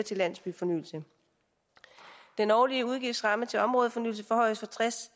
til landsbyfornyelse den årlige udgiftsramme til områdefornyelse forhøjes fra tres